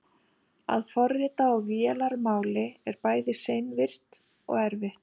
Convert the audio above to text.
að forrita á vélarmáli er bæði seinvirkt og erfitt